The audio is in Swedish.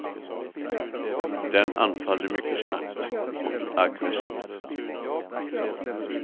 Den anfaller mycket snabbt och aggressivt.